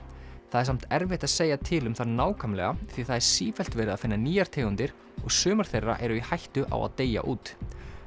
það er samt erfitt að segja til um það nákvæmlega því það er sífellt verið að finna nýjar tegundir og sumar þeirra eru í hættu á að deyja út